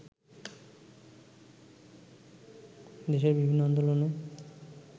দেশের বিভিন্ন আন্দোলনে